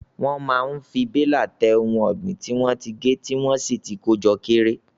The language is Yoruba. Wọ́n máa fi bélà tẹ ohun ọ̀gbìn tí wọ́n ti gé tí wọ́n sì ti kó jọ kéré.